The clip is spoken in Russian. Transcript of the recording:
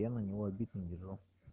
я на него обид не держу